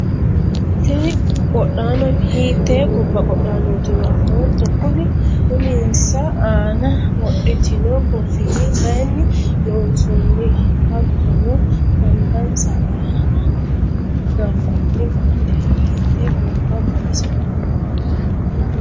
tini qodhaano hiitte gobba qodhaanootiro afootto? kuni uminsa aana wodhitino koffiyyi mayiinni loonsoonniho? hattono angansa aana gannoonni baandeeri hiittee gobba xawisanno?